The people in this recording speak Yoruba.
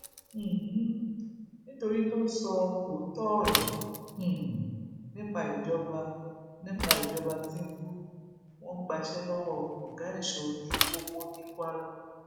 um nítorí tó sọ òótọ ọrọ um nípa ìjọba nípa ìjọba tìǹbù wọn gbaṣẹ lọwọ ọgá èso ojú pópó ní kwara